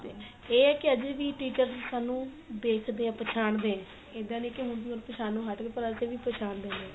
ਤੇ ਇਹ ਹੈ ਵੀ ਹਜੇ ਵੀ teachers ਸਾਨੂੰ ਦੇਖਦੇ ਏ ਪਛਾਣਦੇ ਇਹਦਾ ਨੀ ਕੀ ਹੁਣ ਵੀ ਉਹ ਪਛਾਣ ਨੋਂ ਹੱਟ ਗਏ ਪਰ ਅਜੇ ਵੀ ਪਛਾਣਦੇ ਨੇ